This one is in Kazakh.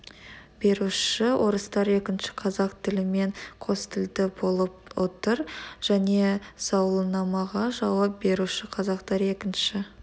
беруші орыстар екінші қазақ тілімен қос тілді болып отыр және сауалнамаға жауап беруші қазақтар екінші